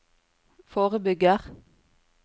forebygger